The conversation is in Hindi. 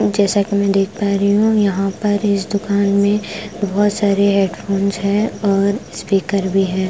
जैसा कि मैं देख पा रही हूं यहां पर इस दुकान में बहोत सारे हेडफोंस है और स्पीकर भी है।